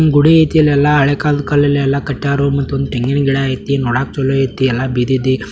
ಗುಡಿ ಅಯ್ತೆ ಇಲ್ಲಿ ಎಲ್ಲ ಹಳೆ ಕಾಲದ ಕಲ್ಲು ಎಲ್ಲ ಕಟ್ಟರು ಮತ್ತೆ ತೆಂಗಿನ ಗಿಡ ಅಯ್ತಿ ನೋಡಕೆ ಚಲು ಅಯ್ತಿ ಎಲ್ಲ ಬಿದೆದ್ದಿ --